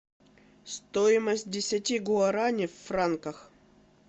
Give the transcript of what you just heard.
стоимость десяти гуарани в франках